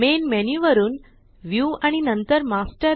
main menu वरुन view आणि नंतर मास्टर